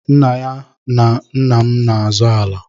Nna ya na nna m n'azọ ala.